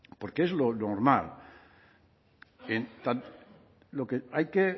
porque es lo normal lo que hay que